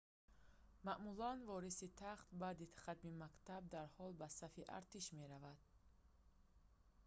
маъмулан вориси тахт баъди хатми мактаб дарҳол ба сафи артиш меравад